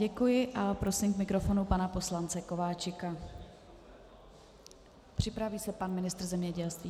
Děkuji a prosím k mikrofonu pana poslance Kováčika, připraví se pan ministr zemědělství.